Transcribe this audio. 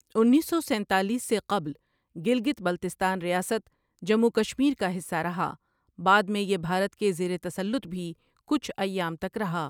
انیس سو سینتالیس سے قبل گلگت بلتستان ریاست جموں و کشمیر کا حصہ رہا بعد میں یہ بھارت کے زیر تسلط بھی کچھ ایام تک رہا ۔